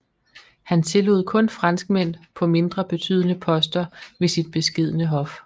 Han tillod kun franskmænd på mindre betydende poster ved sit beskedne hof